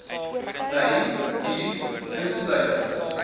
wyn bier insluitend